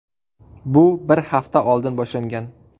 Bu bir hafta oldin boshlangan.